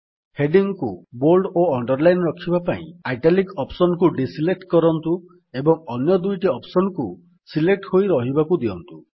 heading କୁ bold ଓ underline ରଖିବା ପାଇଁ ଇଟାଲିକ୍ ଅପ୍ସନ୍ କୁ ଡିଜଲେକ୍ଟ କରନ୍ତୁ ଏବଂ ଅନ୍ୟ ଦୁଇଟି ଅପ୍ସନ୍ କୁ ସିଲେକ୍ଟ ହୋଇ ରହିବାକୁ ଦିଅନ୍ତୁ